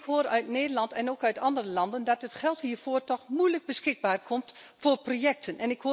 Ik hoor uit Nederland en ook uit andere landen dat het geld hiervoor toch moeilijk beschikbaar wordt voor projecten.